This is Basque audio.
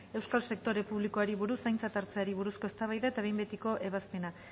euskal sektore publikoari buruz aintzat hartzeari buruzko eztabaida eta behin betiko ebazpena